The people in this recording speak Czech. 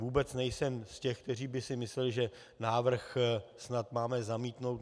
Vůbec nejsem z těch, kteří by si mysleli, že návrh snad máme zamítnout.